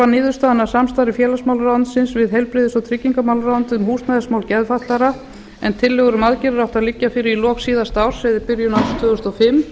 niðurstaðan af samstarfi félagsmálaráðuneytisins við heilbrigðis og tryggingaráðuneytið um húsnæðismál geðfatlaðra en tillögur um aðgerðir áttu að liggja fyrir í lok síðasta árs eða í byrjun árs tvö þúsund og fimm